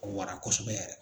Ka wara kosɛbɛ yɛrɛ.